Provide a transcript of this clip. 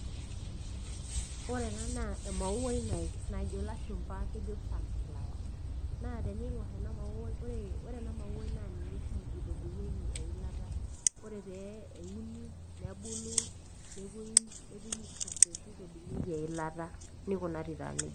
Ore enaa emauai najo ilashumba kejo sunflower naa teniinkor ena mauai ore ena mauai naa ninye oshi itobirieki eilata. Ore pee euni nebulu nepoi aitobir nitobirieki eilata. Nikunari taa nejia.